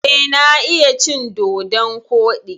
Eh, na iya cin dodon koɗi.